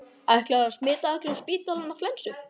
Ætlarðu að smita allan spítalann af flensu?